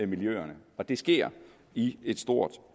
miljøerne og det sker i et stort